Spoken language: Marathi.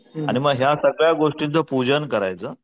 आणि मग या सगळ्या गोष्टींचं पूजन करायचं.